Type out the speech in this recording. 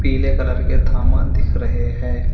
पीले कलर के थामा दिख रहे हैं।